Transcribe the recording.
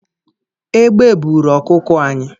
Egbe buuru ọkụkọ anyị